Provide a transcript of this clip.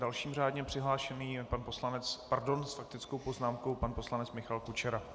Dalším řádně přihlášeným je pan poslanec - pardon, s faktickou poznámkou pan poslanec Michal Kučera.